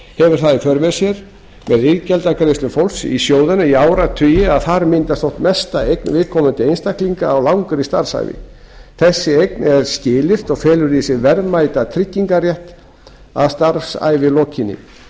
hefur það í för með sér með iðgjaldagreiðslum fólks í sjóðina í áratugi að þar myndast oft mesta eign viðkomandi einstaklinga á langri starfsævi þessi eign er skilyrt og felur í sér verðmætan tryggingarrétt að starfsævi lokinni því